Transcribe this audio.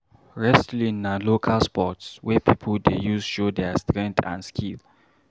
Wrestling na local sports wey pipo dey use show their strength and skill.